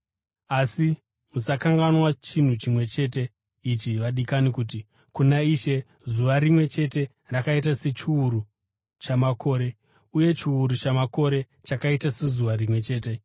Asi musakanganwa chinhu chimwe chete ichi, vadikani, kuti: Kuna Ishe zuva rimwe chete rakaita sechiuru chamakore, uye chiuru chamakore chakaita sezuva rimwe chete.